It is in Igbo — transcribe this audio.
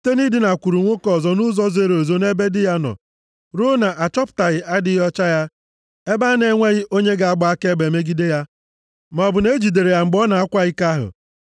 site nʼidinakwuru nwoke ọzọ nʼụzọ zoro ezo nʼebe di ya nọ ruo na achọpụtaghị adịghị ọcha ya (ebe a na-enweghị onye ga-agba akaebe megide ya, maọbụ na e jidere ya mgbe ọ na-akwa iko ahụ),